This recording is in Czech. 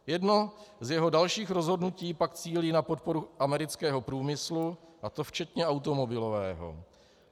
Jedno z jeho dalších rozhodnutí pak cílí na podporu amerického průmyslu, a to včetně automobilového.